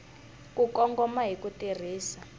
ku kongoma hi ku tirhisa